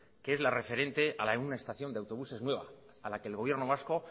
que es la referente a la de una estación de autobuses nueva a la que el gobierno vasco